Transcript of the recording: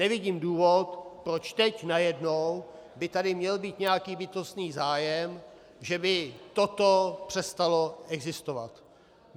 Nevidím důvod, proč teď najednou by tady měl být nějaký bytostný zájem, že by toto přestalo existovat.